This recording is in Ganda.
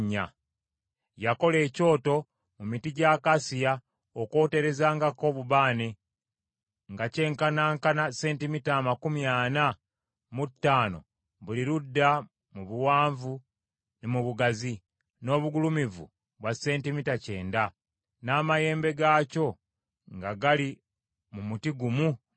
Yakola ekyoto, mu miti gy’akasiya, okwoterezangako obubaane, nga kyenkanankana sentimita amakumi ana mu ttaano buli ludda mu buwanvu ne mu bugazi; n’obugulumivu bwa sentimita kyenda; n’amayembe gaakyo nga gali mu muti gumu nakyo.